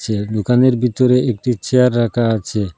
সেই দোকানের ভিতরে একটি চেয়ার রাখা আছে।